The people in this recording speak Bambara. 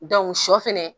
shɔ fɛnɛ